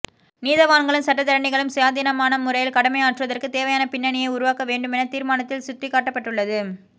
நீதவான்களும் சட்டத்தரணிகளும் சுயாதீனமான முறையில் கடமையாற்றுவதற்கு தேவையான பின்னணியை உருவாக்க வேண்டுமென தீர்மானத்தில் சுட்டிக்காட்டப்பட்டுள்ளது